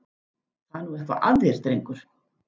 Það er nú eitthvað að þér, drengur!